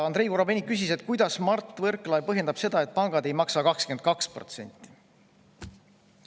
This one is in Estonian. Andrei Korobeinik küsis, kuidas Mart Võrklaev põhjendab seda, et pangad ei maksa 22%.